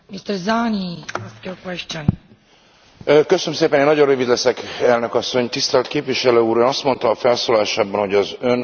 Tisztelt Képviselő Úr, Ön azt mondta a felszólalásában, hogy az Ön frakciója meglehetősen megosztott Törökország vonatkozásában, vagy kérdésében.